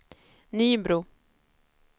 Nybro